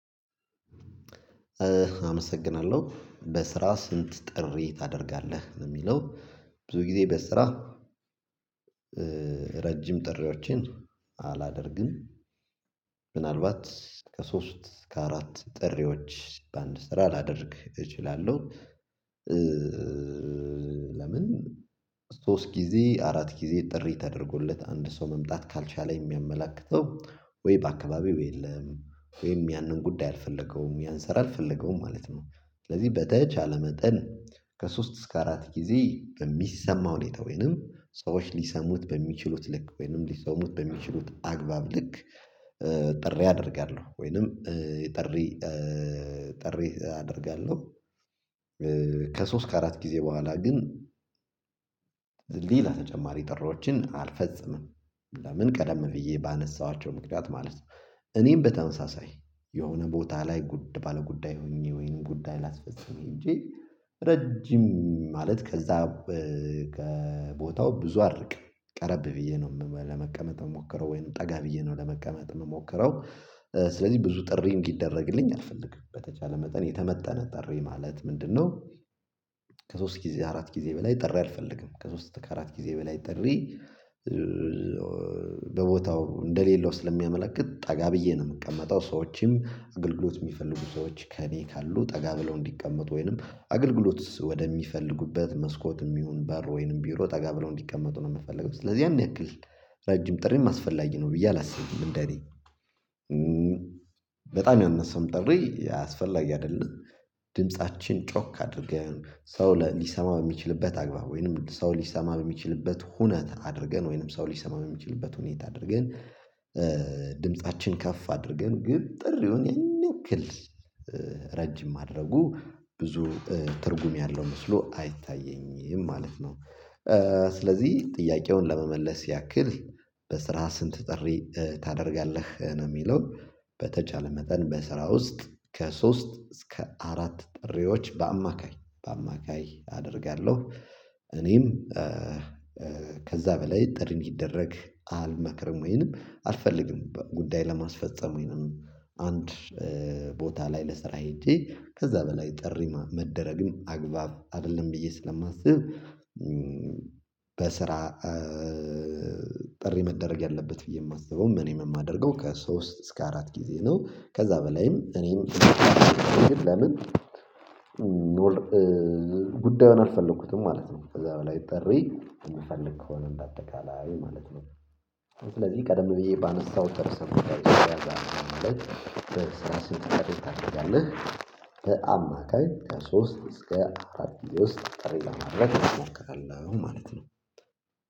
አመሰግናለሁ። በስራ ስንት ጥሪ ታደርጋለህ? ነው የሚለው። ብዙ ጊዜ በስራ ረጅም ጥሪዎችን አላደርግም። ምናልባት ከሶስት እስከ አራት ጥሪዎች በአንድ ስትራ ላደርግ እችላለሁ። ለምን ሶስት ጊዜ አራት ጊዜ ጥሪ ተደርጎለት አንድ ሰው መምጣት ካልቻለ የሚያመላክተው ወይ በአካባቢው የለም ወይም ያንን ጉዳይ አልፈለገውም ያንሰራል ፈለገውም ማለት ነው። ስለዚህ በተቻለ መጠን ከሶስት እስከ አራት ጊዜ በሚሰማው ሁኔታ ወይንም ሰዎች ሊሰሙት በሚችሉት ልክ ወይንም ሊሰሙት በሚችሉት አግባብ ልክ ጥሪ አደርጋለሁ። ወይንም ጥሪ ጥሪ አደርጋለሁ። ከሶስት ከአራት ጊዜ በኋላ ግን ሌላ ተጨማሪ ጥሪዎችን አልፈጽምም። ለምን ቀደም ብዬ ባነሳኋቸው ምክንያት ማለት ነው። እኔም በተመሳሳይ የሆነ ቦታ ላይ ባለ ጉዳይ ሆኜ ወይንም ጉዳይ ላስፈጸመ ሄጄ ረጅም ማለት ከዛ ከቦታው ብዙ አርቅም። ቀረብ ብዬ ነው ለመቀመጥ የምሞክረው፣ ወይንም ጠጋ ብዬ ነው ለመቀመጥ የምሞክረው። ስለዚህ ብዙ ጥሪ እንዲደረግልኝ አልፈልግም። በተቻለ መጠን የተመጠነ ጥሪ ማለት ምንድነው ከሶስት ጊዜ አራት ጊዜ በላይ ጠሪ አልፈልግም። ከሶስት ከአራት ጊዜ በላይ ጥሪ በቦታው እንደሌለው ስለሚያመለክት ጠጋ ብዬ ነው የምቀመጠው። ሰዎችም አገልግሎት የሚፈልጉ ሰዎች ከእኔ ካሉ ጠጋ ብለው እንዲቀመጡ ወይንም አገልግሎት ወደሚፈልጉበት መስኮትም ይሁን በር ወይንም ቢሮ ጠጋ ብለው እንዲቀመጡ ነው የምፈልገው። ስለዚህ ያን ያክል ረጅም ጥሪም አስፈላጊ ነው ብዬ አላስብም። እንደ እኔ በጣም ያነሰም ጥሪ አስፈላጊ አይደለም። ድምፃችን ጮክ አድርገን፣ ሰው ሊሰማ በሚችልበት አግባብ ወይንም ሰው ሊሰማ በሚችልበት ሁነት አድርገን ወይንም ሰው ሊሰማ በሚችልበት ሁኔታ አድርገን ድምፃችን ከፍ አድርገን ግን ጥሪውን ያን ያክል ማድረጉ ብዙ ትርጉም ያለው መስሎ አይታየኝም ማለት ነው። ስለዚህ ጥያቄውን ለመመለስ ያክል በስራ ስንት ጥሪ ታደርጋለህ? ነው የሚለው። በተቻለ መጠን በስራ ውስጥ ከሶስት እስከ አራት ጥሪዎች በአማካይ በአማካይ አደርጋለሁ። እኔም ከዛ በላይ ጥሪን እንዲደረግ አልመክርም ወይንም አልፈልግም። ጉዳይ ለማስፈፀም ወይንም አንድ ቦታ ላይ ለስራ ሄጄ ከዛ በላይ ጥሪ መደረግም አግባብ አይደለም ብዬ ስለማስብ በስራ ጥሪ መደረግ ያለበት ብዬ የማስበው ምን የማደርገው ከሶስት እስከ አራት ጊዜ ነው። ከዛ በላይም እኔም ለምን ጉዳዩን አልፈለኩትም ማለት ነው። ከዛ በላይ ጥሪ የምፈልግ ከሆነ በአጠቃላይ ማለት ነው። ስለዚህ ቀደም ብዬ ባነሳሁት ርዕሰ ጉዳይ ማለት በስራ ስንት ጥሪ ታደርጋለህ? በአማካይ ከሶስት እስከ አራት ጊዜ ውስጥ ጥሪ ለማድረግ እሞክራለሁ ማለት ነው።